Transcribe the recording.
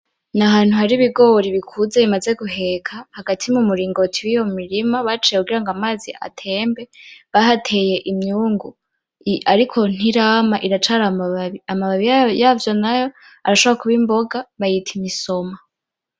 Ni ahantu hari ibigori bikuze bimaze guheka hagati mu miringoti yiyo mirima kugirango amazi atembe bahateye imyungu ariko ntirama iracari amababi. Amababi yavyo nayo arashobora kuba imboga bakayita imisoma.